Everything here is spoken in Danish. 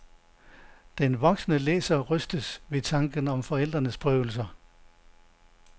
Den voksne læser rystes ved tanken om forældrenes prøvelser.